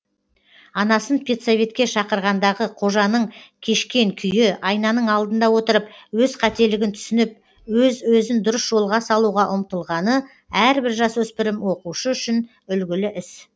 анасын педсоветке шақырғандағы қожаның кешкен күйі айнаның алдында отырып өз қателігін түсініп өз өзін дұрыс жолға салуға ұмтылғаны әрбір жасөспірім оқушы үшін үлгілі іс